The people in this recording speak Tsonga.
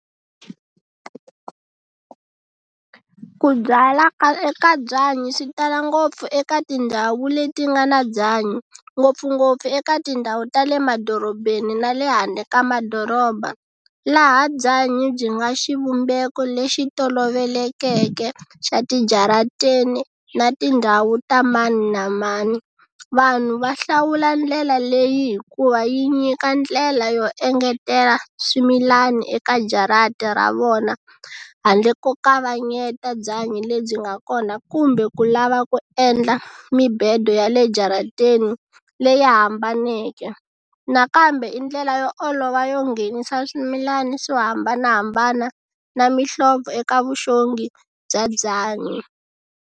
Ku byala ka eka byanyi swi tala ngopfu eka tindhawu leti nga na byanyi ngopfungopfu eka tindhawu ta le madorobeni na le handle ka madoroba laha byanyi byi nga xivumbeko lexi tolovelekeke xa tijaratini na tindhawu ta mani na mani. Vanhu va hlawula ndlela leyi hikuva yi nyika ndlela yo engetela swimilani eka jarata ra vona handle ko kavanyeta byanyi lebyi nga kona kumbe ku lava ku endla mibedo ya le jarateni leyi hambaneke nakambe i ndlela yo olova yo nghenisa swimilana swo hambanahambana na mihlovo eka vuxongi bya byanyi.